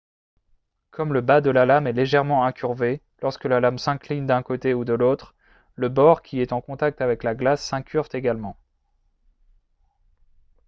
comme le bas de la lame est légèrement incurvé lorsque la lame s'incline d'un côté ou de l'autre le bord qui est en contact avec la glace s'incurve également